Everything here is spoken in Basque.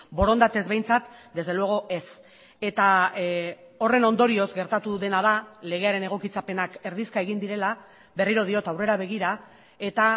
borondatez behintzat desde luego ez eta horren ondorioz gertatu dena da legearen egokitzapenak erdizka egin direla berriro diot aurrera begira eta